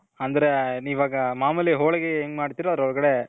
ಅಂದ್ರೆ ಇವಾಗ ಮಾಮೂಲಿ ಹೋಳಿಗೆ ಹೆಂಗ್ ಮಾಡ್ತಿರೋ ಅದ್ರೋಳಗಡೆ